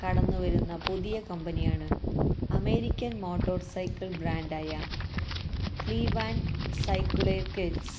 കടന്നുവരുന്ന പുതിയ കമ്പനിയാണ് അമേരിക്കന് മോട്ടോര്സൈക്കിള് ബ്രാന്ഡായ ക്ലീവ്ലാന്ഡ് സൈക്കിള്വേര്ക്ക്സ്